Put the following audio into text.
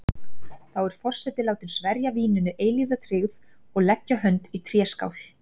Þá er forseti látin sverja víninu eilífa tryggð og leggja hönd í tréskál.